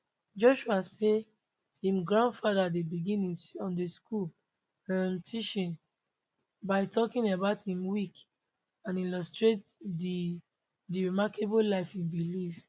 joshua say im grandfather dey begin im sunday school um teachings by talking about im week and illustrate di di remarkable life e bin live